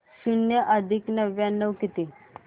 शून्य अधिक नव्याण्णव किती